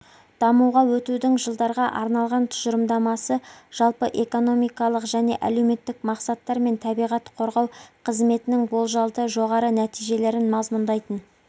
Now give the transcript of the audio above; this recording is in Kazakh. дамуға өтудің жылдарға арналған тұжырымдамасы жалпы экономикалық және әлеуметтік мақсаттар мен табиғат қорғау қызметінің болжалды жоғары нәтижелерін мазмұндайтын